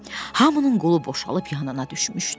Hamının qolu boşalıb yanına düşmüşdü.